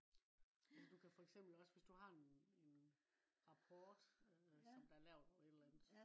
Altså du kan for eksempel også hvis du har en rapport som der er lavet over et eller andet